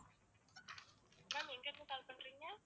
ma'am எங்கிருந்து call பண்றீங்க